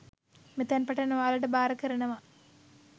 මෙතැන් පටන් ඔයාලට භාර කරනවා